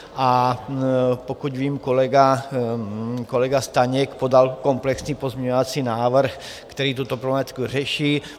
A pokud vím, kolega Staněk podal komplexní pozměňovací návrh, který tuto problematiku řeší.